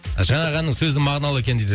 жаңағы әннің сөзі мағыналы екен дейді